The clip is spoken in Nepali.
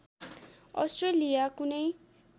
अष्ट्रेलिया कुनै